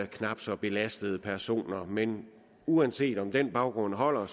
knap så belastede personer men uanset om den baggrund holder